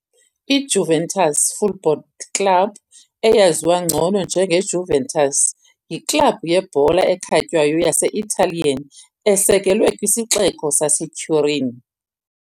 IJuventus Football Club eyaziwa ngcono njengeJuventus, yiklabhu yebhola ekhatywayo yase-Italian esekelwe kwisixeko saseTurin.